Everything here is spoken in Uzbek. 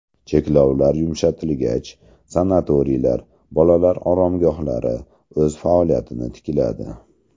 Cheklovlar yumshatilgach, sanatoriylar, bolalar oromgohlari o‘z faoliyatini tikladi.